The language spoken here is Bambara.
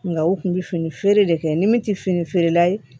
Nga u kun bɛ fini feere de kɛ ni min tɛ fini feerela ye